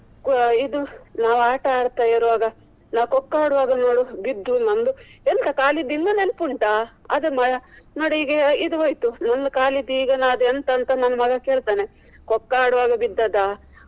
ಓ ಇದು ನಾವು ಆಟ ಆಡ್ತಾ ಇರ್ವಗ ನಾವು kho kho ಆಡ್ವಾಗ ನೋಡು ಬಿದ್ದು. ಎಂಥ ಕಾಲಿದ್ದು ಇನ್ನೂ ನೆನಪುಂಟಾ ನೋಡು ಈಗ ಇದು ಹೋಯ್ತು. ನನ್ನ ಕಾಲಿದು ಈಗ ನಾ ಎಂಥ ಅಂತ ಮಗ ಕೇಳ್ತಾನೆ. kho kho ಆಡ್ವಾಗ ಬಿದ್ದದ.